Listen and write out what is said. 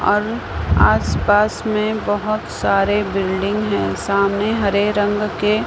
और आसपास में बहुत सारे बिल्डिंग हैं सामने हरे रंग के--